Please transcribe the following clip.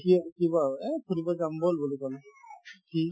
সি উঠিব আৰু এই ঘূৰিব যাম ব'ল বুলি ক'লো সি